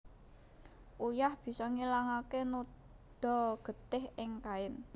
Uyah bisa ngilangaké noda getih ing kain